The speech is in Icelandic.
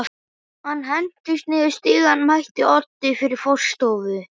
Hann hentist niður stigann, mætti Oddi við forstofu